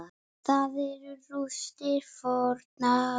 Þar eru rústir fornra búða.